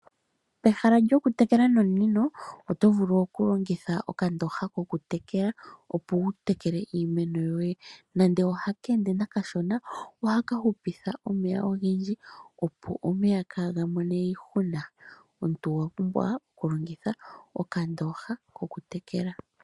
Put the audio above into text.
Pehala lyokutekela nomunino oto vulu okulongitha okandooha kokutekela opo wutekele iimeno yoye nande ohaka ende kashona ohaka hupitha omeya ogendji opo kaaga hepe. Omuntu owa pumbwa okulongitha okandooha kokutekela iimeno.